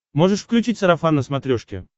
можешь включить сарафан на смотрешке